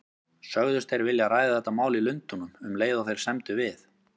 Sögðust þeir vilja ræða þetta mál í Lundúnum, um leið og þeir semdu við